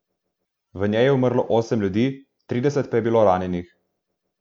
V njej je umrlo osem ljudi, trideset pa je bilo ranjenih.